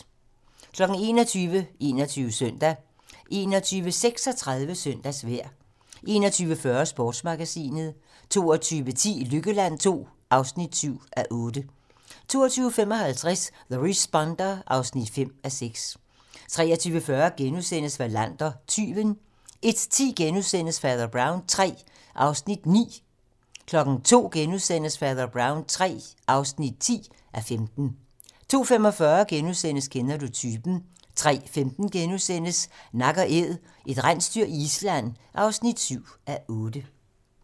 21:00: 21 Søndag 21:36: Søndagsvejr 21:40: Sportsmagasinet 22:10: Lykkeland II (7:8) 22:55: The Responder (5:6) 23:40: Wallander: Tyven * 01:10: Fader Brown III (9:15)* 02:00: Fader Brown III (10:15)* 02:45: Kender du typen? * 03:15: Nak & Æd - et rensdyr i Island (7:8)*